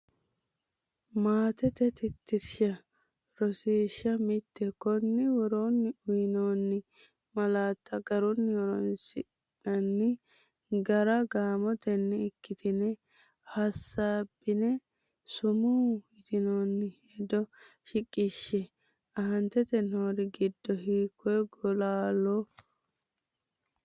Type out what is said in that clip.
Malaattate Tittirsha Rosiishsha Mite Konni woroonni uyinoonni malaatta garunni horoonsi’nanni gara gaamotenni ikkitine hasaabbine sumuu yitinoonni hedo shiqishshe, Aaante noori giddo hiikko gola loo?